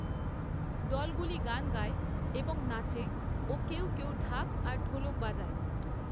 দলগুলি গান গায় এবং নাচে ও কেউ কেউ ঢাক আর ঢোলক বাজায়।